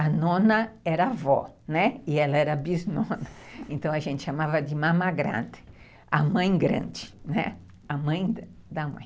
A nona era avó, né, e ela era bisnona, então a gente chamava de mama grande, a mãe grande, né, a mãe da mãe.